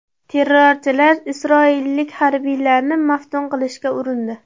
Terrorchilar isroillik harbiylarni maftun qilishga urindi.